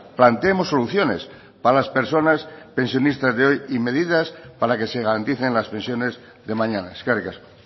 planteemos soluciones para las personas pensionistas de hoy y medidas para que se garanticen las pensiones de mañana eskerrik asko